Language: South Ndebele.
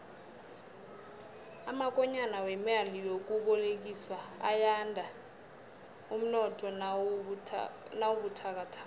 amakonyana wemali yokubolekiswa ayanda umnotho nawubuthakathaka